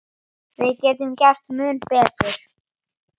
Við getum gert mun betur.